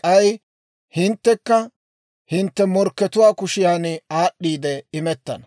K'ay hinttekka hintte morkkatuwaa kushiyaan aad'd'iide imettana.